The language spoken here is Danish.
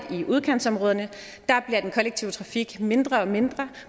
i udkantsområderne at den kollektive trafik bliver mindre og mindre